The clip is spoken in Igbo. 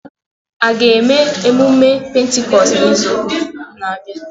A ga-eme mmemme Pentikọst n'izu na-abịa?